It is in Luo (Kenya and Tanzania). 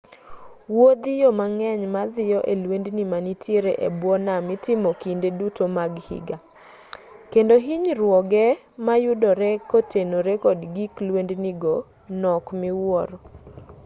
wuodhiyo mang'eny madhiyo e lwendni manitiere e bwo nam itimoga kinde duto mag higa kendo hinyruoge mayudore kotenore kod gig lwendni go nok miwuoro